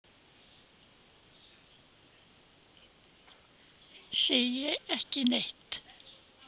Segir ekki neitt.